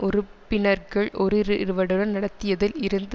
உறுப்பினர்கள் ஓருரிவருடன் நடத்தியதில் இருந்து